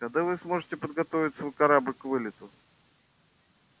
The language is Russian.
когда вы сможете подготовить свой корабль к вылету